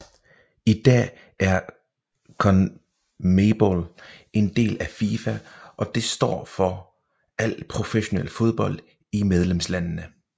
I dag er CONMEBOL en del af FIFA og det står for al professionel fodbold i medlemslandene